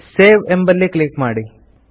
save ಎಂಬಲ್ಲಿ click ಮಾಡಿ